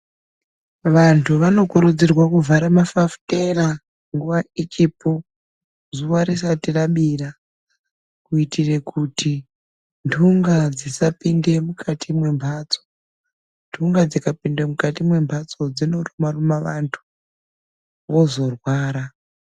Vantu vanokurudzirwa kuvhara mafafutera nguva ichipo zuva risati rabira kuitira kuti ntunga dzisapinde mukati mwembatso. Ntunga dzikapinde mukati mwembatso dzinoruma ruma vantu vozorwara.